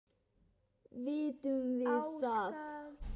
Vitum við það?